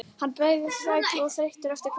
Hann er bæði sæll og þreyttur eftir kvöldið.